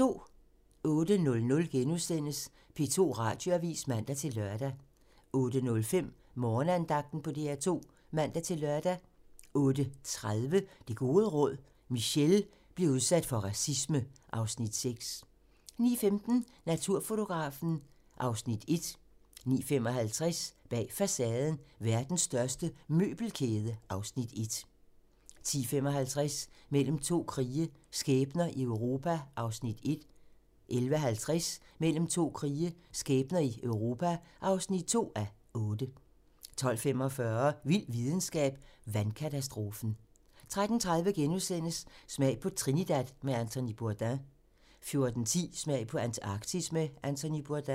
08:00: P2 Radioavis *(man-lør) 08:05: Morgenandagten på DR 2 (man-lør) 08:30: Det gode råd: Michele bliver udsat for racisme (Afs. 6) 09:15: Naturfotografen (Afs. 1) 09:55: Bag facaden: Verdens største møbelkæde (Afs. 1) 10:55: Mellem to krige - skæbner i Europa (1:8) 11:50: Mellem to krige - skæbner i Europa (2:8) 12:45: Vild videnskab: Vandkatastrofen 13:30: Smag på Trinidad med Anthony Bourdain * 14:10: Smag på Antarktis med Anthony Bourdain